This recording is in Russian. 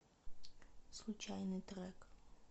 случайный трек